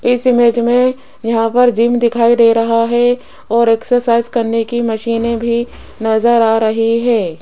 इस इमेज में यहाँ पर जिम दिखाइ दे रहा हैं और एक्सरसाइज करने की मशीने भी नजर आ रही है।